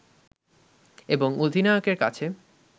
এবং অধিনায়কের কাছে